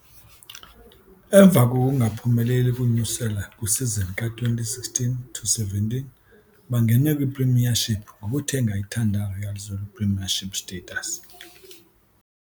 Emva kokungaphumeleli ukunyuselwa kwisizini ka-2016-17 bangene kwiPremiership ngokuthenga iThanda Royal Zulu Premiership Status.